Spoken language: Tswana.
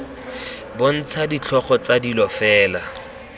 bontsha ditlhogo tsa dilo fela